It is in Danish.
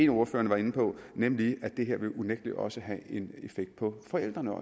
ordførerne var inde på nemlig at det her unægtelig også vil have en effekt på forældrene